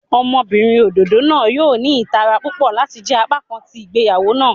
Ọmọbinrin ododo naa yoo ni itara pupọ lati jẹ apakan ti igbeyawo naa.